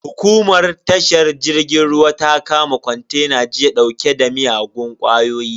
Hukumar tashar jirgin ruwa ta kama kontena jiya dauke da miyagun kwayoyi.